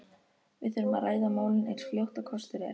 Við þurfum að ræða málin eins fljótt og kostur er.